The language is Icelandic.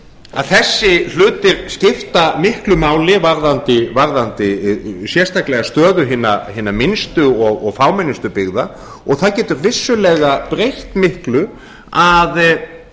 að þessir hlutir skipta miklu máli varðandi sérstaklega stöðu hinna minnstu og fámennustu byggða og það getur vissulega breytt miklu að